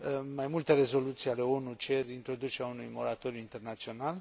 Mai multe rezoluții ale ONU cer introducerea unui moratoriu internațional.